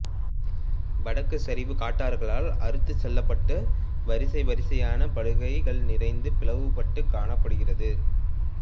வடக்குச் சரிவு காட்டாறுகளால் அறுத்துச் செல்லப்பட்ட வரிசை வரிசையான படுகைகள் நிறைந்து பிளவுபட்டுக் காணப்படுகிறது